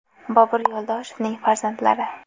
Bobur Yo‘ldoshevning farzandlari.